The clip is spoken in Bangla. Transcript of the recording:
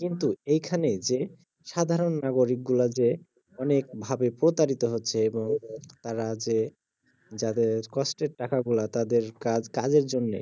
কিন্তু এইখানে যে সাধারণ নাগরিক গুলা যে অনেক ভাবে প্রতারিত হচ্ছে এবং তারা যে যাদের কষ্টের টাকাগুলা তাদের কা~কাজের জন্যে